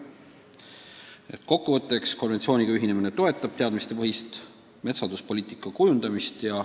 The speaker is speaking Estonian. Kokku võttes võib öelda, et konventsiooniga ühinemine toetab teadmistepõhist metsanduspoliitika kujundamist.